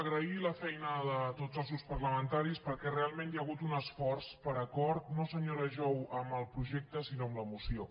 agrair la feina de tots els grups parlamentaris perquè realment hi ha hagut un esforç per acord no senyora jou amb el projecte sinó amb la moció